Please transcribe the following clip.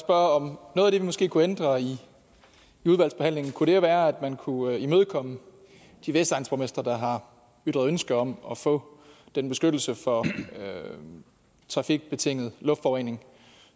om noget af det vi måske kunne ændre i udvalgsbehandlingen kunne være at man kunne imødekomme de vestegnsborgmestre der har ytret ønske om at få den beskyttelse for trafikbetinget luftforurening